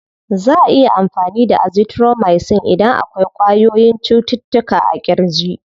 Za'a iya amfani da azithromicin idan akwai ƙwayoyyin cututtuka a ƙirji.